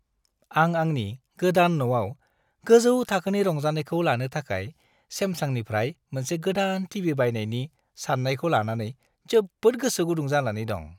आं आंनि गोदान न'आव गोजौ थाखोनि रंजानायखौ लानो थाखाय सेमसांनिफ्राय मोनसे गोदान टीभी बायनायनि साननायखौ लानानै जोबोद गोसो गुदुं जानानै दं।